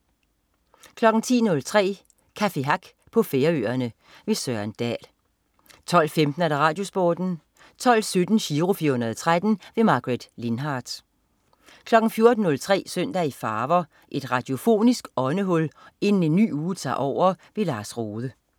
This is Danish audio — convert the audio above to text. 10.03 Café Hack på Færøerne. Søren Dahl 12.15 RadioSporten 12.17 Giro 413. Margaret Lindhardt 14.03 Søndag i farver. Et radiofonisk åndehul inden en ny uge tager over. Lars Rohde